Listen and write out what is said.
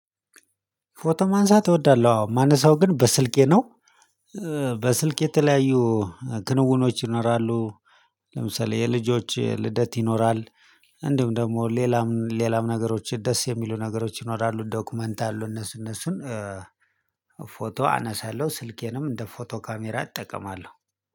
ፎቶ ማንሳት እወዳለው አዎ ማነሳው ግን በስልኬ ነው። በስልኬ የተለያዩ ክንውኖች ይኖራሉ። ለምሳሌ የልጆች ልደት ይኖራል። እንዲሁም ደሞ ሌላም ሌላም ነገሮች ደስ የሚሉ ነገሮች ይኖራሉ። ዶክመንት አሉ እነሱ እነሱን ፎቶ አነሳለሁ። ስልኬንም እንደ ፎቶ ካሜራ እጠቀማለሁ።